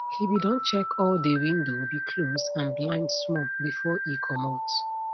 he be don check all dey window be close and blind small before e comot